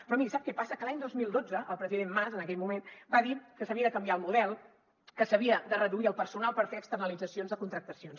però miri sap què passa que l’any dos mil dotze el president mas en aquell moment va dir que s’havia de canviar el model que s’havia de reduir el personal per fer externalitzacions de contractacions